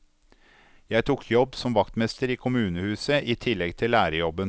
Jeg tok jobb som vaktmester i kommunehuset i tillegg til lærerjobben.